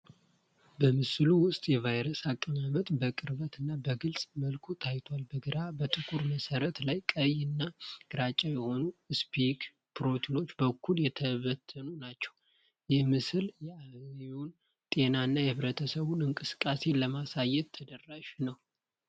በምስሉ ውስጥ የቫይረስ አቀማመጥ በቅርብ እና በግልጽ መልኩ ታይቷል። በግራ በጥቁር መሠረት ላይ ቀይ እና ግራጫ የሆኑ ስፓይክ ፕሮቲኖች በኩል የተበተኑ ናቸው። ይህ ምስል የአህዮን ጤና እና የህብረተሰብ እንቅስቃሴን ለማሳየት ተደራሽ ነው።